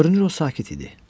Görünür o sakit idi.